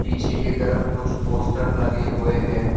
पीछे की तरफ कुछ पोस्टर लगे हुए है।